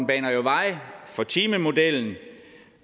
baner jo vej for timemodellen